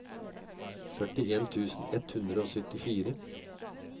førtien tusen ett hundre og syttifire